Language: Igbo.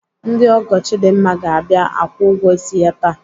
Ndị ọgọ Chidimma ga-abịa akwụ ụgwọ ịsị ya taa.